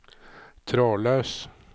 trådløs